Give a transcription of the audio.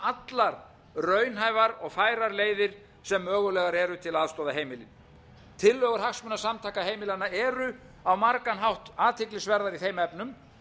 allar raunhæfar og færar leiðir sem mögulegar eru til að aðstoða heimilin tillögur hagsmunasamtaka heimilanna eru á margan hátt athyglisverðar í þeim efnum